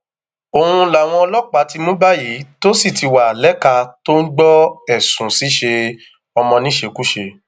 òun làwọn ọlọpàá ti mú báyìí tó sì ti wá lẹka tó ń gbọ ẹsùn ṣíṣe ọmọ níṣekúṣe